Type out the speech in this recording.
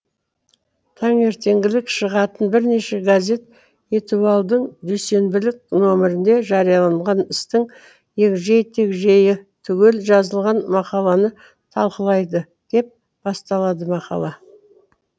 таңертеңгілік шығатын бірнеше газет этуальдің дүйсенбілік номерінде жарияланған істің егжей тегжейі түгел жазылған мақаланы талқылайды деп басталады мақала